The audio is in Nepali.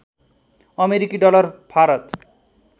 अमेरिकी डलर भारत